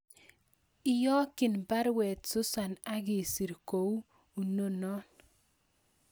Iyokyin baruet Susan agisir ko unon